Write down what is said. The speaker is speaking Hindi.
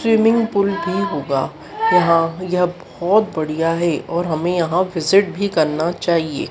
स्विमिंग पूल भी होगा। यहाँ यह बहोत बढ़िया हैं और हमे यहाँ विजिट भी करना चाहिए।